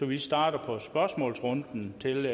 vi starter på spørgsmålsrunden til